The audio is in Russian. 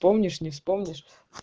помнишь не вспомнишь